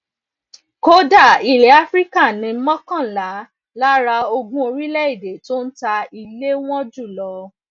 kódà ilè áfíríkà ni mókànlá lára ogún orílèèdè tó ń ta ilè wọn jù lọ